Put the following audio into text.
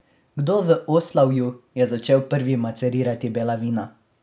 Kdo v Oslavju je začel prvi macerirati bela vina?